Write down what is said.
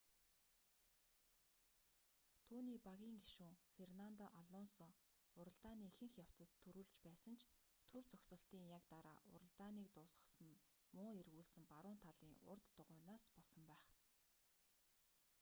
түүний багийн гишүүн фернандо алонсо уралдааны ихэнх явцад түрүүлж байсан ч түр зогсолтын яг дараа уралдааныг дуусгасан нь муу эргүүлсэн баруун талын урд дугуйнаас болсон байх